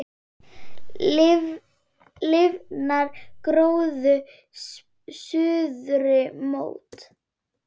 Lifnar gróður suðri mót.